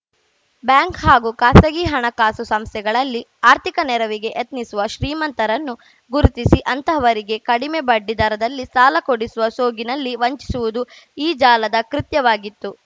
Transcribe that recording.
bank ಹಾಗೂ ಖಾಸಗಿ ಹಣಕಾಸು ಸಂಸ್ಥೆಗಳಲ್ಲಿ ಆರ್ಥಿಕ ನೆರವಿಗೆ ಯತ್ನಿಸುವ ಶ್ರೀಮಂತರನ್ನು ಗುರುತಿಸಿ ಅಂತಹವರಿಗೆ ಕಡಿಮೆ ಬಡ್ಡಿ ದರದಲ್ಲಿ ಸಾಲ ಕೊಡಿಸುವ ಸೋಗಿನಲ್ಲಿ ವಂಚಿಸುವುದು ಈ ಜಾಲದ ಕೃತ್ಯವಾಗಿತ್ತು